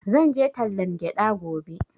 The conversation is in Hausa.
Zan je tallan gyaɗa gobe